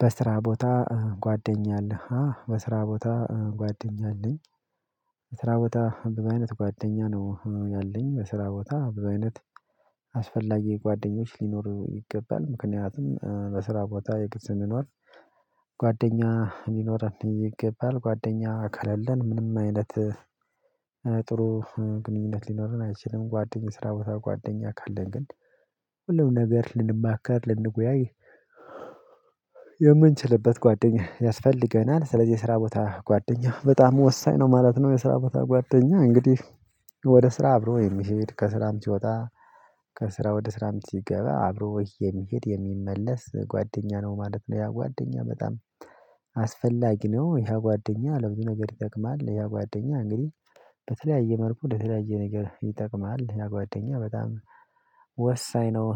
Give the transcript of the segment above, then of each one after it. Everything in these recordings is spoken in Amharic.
በስራ ቦታ ጓደኛ አለህ በስራ ቦታ ጓደኛ አለኝ። በስራ ቦታ ብዙ አይነት ጓደኛ ነው ያለኝ በስራ ቦታ ብዙ አይነት። አስፈላጊ ጓደኞች ሊኖሩ ይገባል ምክንያቱም በስራ ቦታ የግድ ስንኖር። ጓደኛ ሊኖረን ይገባል ጓደኛ ከሌለን ምንም አይነት። ጥሩ ግንኙነት ሊኖረን አይችልም ጓደኛ የስራ በታ ጓደኛ ካለን ግን። ሁሉም ነገር ልንማከር ልንወያይ የምንችልበት ጓደኛ ያስፈልገናል። ስለዚህ የስራ ቦታ ጓደኛ በጣም ወሳኝ ነው ማለት ነው። የስራ ቦታ ጓደኛ እንግዲህ ወደ ስራ አብሮ የሚሄድ ከስራም ሲወጣ ከስራ ወደ ስራም ሲገባ አብሮ የሚሄድ የሚመለስ ጓደኛ ነው ማለት ነው። ያ ጓደኛ በጣም አስፈላጊ ነው። ያ ጓደኛ ለምንድነው ነገር ይጠቅማል? ያ ጓደኛ እንግዲህ በተለያየ መልኩ ለተለያየ ነገር ይጠቅማል። ያ ጓደኛ በጣም ወሳኝ ነው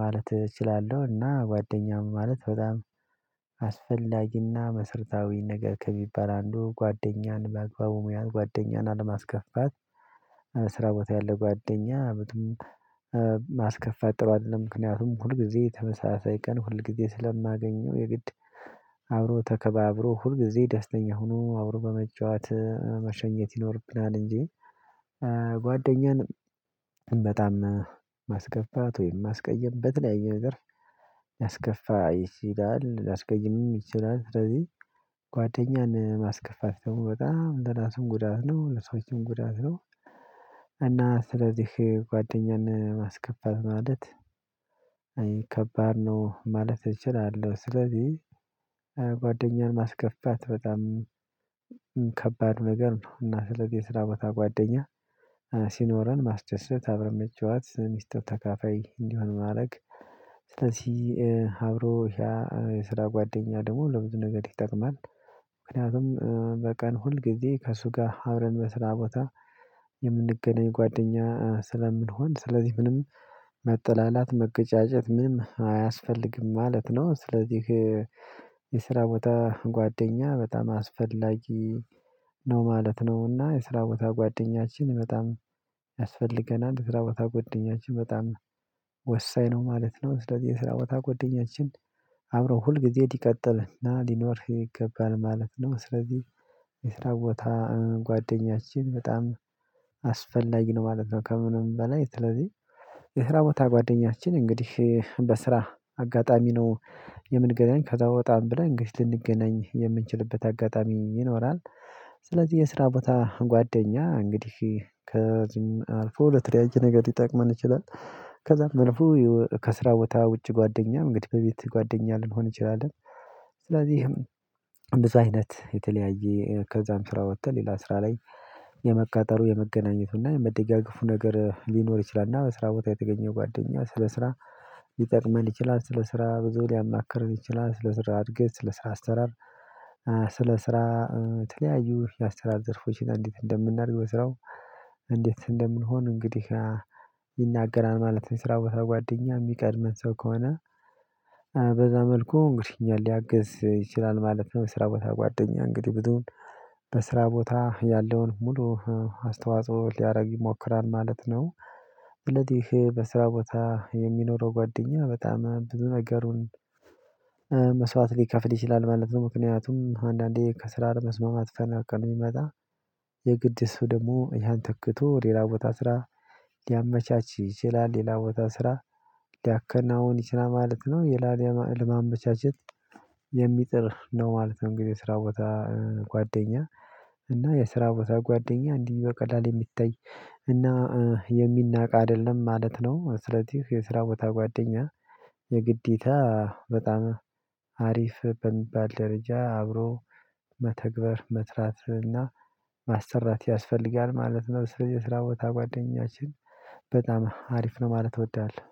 ማለት እችላለሁ። እና ጓደኛም ማለት በጣም አስፈላጊና መሰረታዊ ነገር ከሚባል አንዱ ጓደኛን በአግባቡ መያዝ ጓደኛን አለማስከፋት። ስራ ቦታ ያለ ጓደኛ ምንም ማስከፋት ጥሩ አይደለም። ምክንያቱም ሁል ጊዜ ተመሳሳይ ቀን ሁልጊዜ ስለማገኘው የግድ አብሮ ተከባብሮ ሁልጊዜ ደስተኛ ሆኖ አብሮ በመጨዋት መሸኘት ይኖርብናል እንጂ። ጓደኛን በጣም ማስከፋት ወይም ማስቀየም በተለያየ ነገር ያስከፋ ይችላል ላስቀይምም ይችላል። ስለዚህ ጓደኛን ማስከፋት ደግሞ በጣም ለራስም ጉዳት ነው ለሰዎችም ጉዳት ነው። እና ስለዚህ ጓደኛን ማስከፈት ማለት አይ ከባድ ነው ማለት እችላለሁ። ስለዚህ ጓደኛህን ማስከፋት በጣም ከባድ ነገር ነው። እና ስለዚህ የስራ ቦታ ጓደኛ ሲኖረን ማስደሰት አብረን መጫዋት ሚስጥር ተካፋይ እንዲሆን ማድረግ ስለዚህ አብሮ ያ የስራ ጓደኛ ደግሞ ለብዙ ነገር ይጠቅማል። ምክንያቱም በቀን ሁል ጊዜ ከእሱ ጋር አብረን በስራ ቦታ የምንገናኝ ጓደኛ ስለምንሆን ስለዚህ ምንም መጠላላት መገጫጨት ምንም አያስፈልግም ማለት ነው። ስለዚህ የስራ ቦታ ጓደኛ በጣም አስፈላጊ ነው። ማለት ነውና የስራ ቦታ ጓደኛችን በጣም ያስፈልገናል። የስራ ቦታ ጓደኛችን በጣም ወሳኝ ነው ማለት ነው። ስለዚህ የስራ በታ ጓደኛችን አብረው ሁል ጊዜ ሊቀጥልና ሊኖርህ ይገባል ማለት ነው። ስለዚህ የስራ ቦታ ጓደኛችን በጣም አስፈላጊ ነው ማለት ነው። ከምንም በላይ ስለዚህ የስራ ቦታ ጓደኛችን እንግዲህ በስራ አጋጣሚ ነው። የምንገናኝ ከዛ ወጣም ብለን እንግዲህ ልንገናኝ የምንችልበት አጋጣሚ ይኖራል። ስለዚህ የስራ ቦታ ጓደኛ እንግዲህ ከዚህም አልፎ ለተለያየ ነገር ሊጠቅመን ይችላል። ከዛም አልፎ ከስራ ቦታ ውጭ ጓደኛ እንግዲህ በቤት ጓደኛ ልንሆን እንችላለን። ስለዚህም ብዙ አይነት የተለያየ ከዛም ስራ ወጥተን ሌላ ስራ ላይ የመቀጠሉ የመገናኘቱና የመደጋገፉ ነገር ሊኖር ይችላልና በስራ ቦታ የተገኘው ጓደኛ ስለ ስራ ሊጠቅመን ይችላል። ስለ ስራ ብዙ ሊያማክርን ይችላል ስለ ስራ እድገት ስለ ስራ አሰራር። ስለ ስራ የተለያዩ የአሰራር ዘርፎችን እንዴት እንደምናደርግ በስራው እንዴት እንደምንሆን እንግዲህ ይናገራል ማለት ነው። ስራ ጓደኛ የሚቀድመን ሰው ከሆነ በዛ መልኩ እንግዲህ አኛን ሊያግዝ ይችላል ማለት ነው። የስራ ቦታ ጓደኛ እንግዲህ ብዙን በስራ ቦታ ያለውን ሙሉ አስተዋጽኦ ሊያደርግ ይሞክራል ማለት ነው። ስለዚህ በስራ ቦታ የሚኖረው ጓደኛ በጣም ብዙ ነገሩን መስዋዕት ሊከፍል ይችላል ማለት ነው። ምክንያቱም አንዳንዴ ከስራ አለመስማማት መፈናቀል ቢመጣ የግድ እሱ ደግሞ እኛን ተክቶ ሌላ ቦታ ስራ ሊያመቻች ይችላል ሌላ ቦታ ስራ ሊያከናውን ይችላል ማለት ነው። ለማመቻቸት የሚጥር ነው ማለት ነው። እንግዲህ የስራ ቦታ ጓደኛ እና የስራ ቦታ ጓደኛ እንዲህ በቀላል የሚታይ እና የሚናቅ አይደለም ማለት ነው። ስለዚህ የስራ ቦታ ጓደኛ የግዴታ በጣም አሪፍ በሚባል ደረጃ አብሮ መተግበር መስራት እና ማሰራት ያስፈልጋል ማለት ነው። በስራ ቦታ ጓደኛችን በጣም አሪፍ ነው ማለት አውደሃለሁ